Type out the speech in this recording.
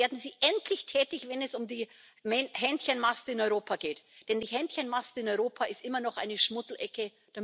Werden Sie endlich tätig, wenn es um die Hähnchenmast in Europa geht, denn die Hähnchenmast in Europa ist immer noch eine Schmuddelecke.